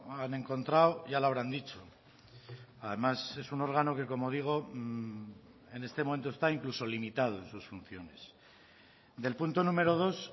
han encontrado ya lo habrán dicho además es un órgano que como digo en este momento está incluso limitado en sus funciones del punto número dos